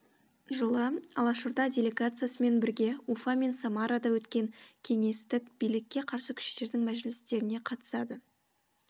жылы алашорда делегациясымен бірге уфа мен самарада өткен кеңестік билікке қарсы күштердің мәжілістеріне қатысады